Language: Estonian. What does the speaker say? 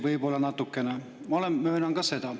Võib-olla natukene, ma möönan seda.